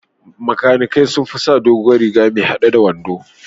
Makanikai sun fi sa doguwar riga mai haɗe a wando.